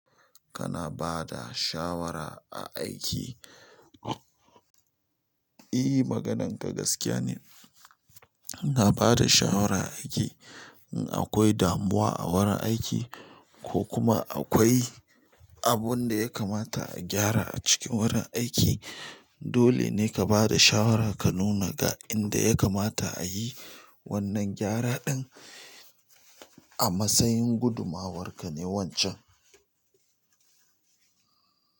Kana bada shawara a aiki? E. Magananka gaskiya ne ina ba da shawara a aiki. In akwai damuwa a wurin aiki ko kuma akwai abun da ya kamata a gyara a cikin wurin aiki, dole ne ka ba da shawara ka nuna ga inda ya kamata a yi wannan gyara ɗin. A matsayin gudumawarka ne wancan.